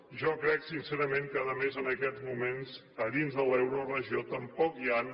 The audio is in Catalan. jo crec sincerament que a més en aquests moments a dins de l’euroregió tampoc hi han